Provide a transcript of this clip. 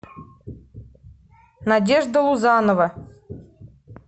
надежда лузанова